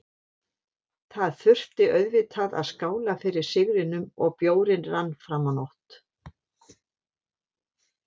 Það þurfti auðvitað að skála fyrir sigrinum og bjórinn rann fram á nótt.